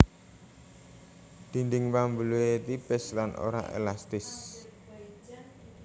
Dinding pambuluhé tipis lan ora élastis